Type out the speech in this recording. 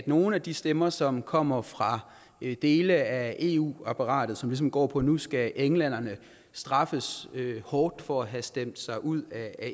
nogle af de stemmer som kommer fra dele af eu apparatet som ligesom går på at nu skal englænderne straffes hårdt for at have stemt sig ud af